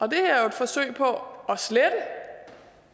forsøg på